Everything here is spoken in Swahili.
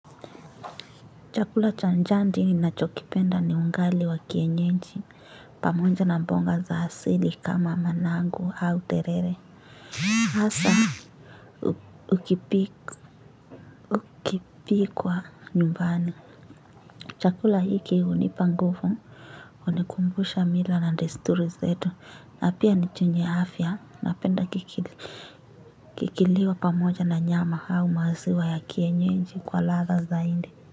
Chakula cha jadi ninachokipenda ni ugali wa kienyeji. Pamoja na mboga za hasili kama managu au terere. Asa ukipikwa nyumbani. Chakula hiki unipa ngufu. Unikumbusha mila na desturi zetu na pia ni chenye afya napenda kikiliwa pamoja na nyama hau maziwa ya kienyeji kwa ladha zaindi.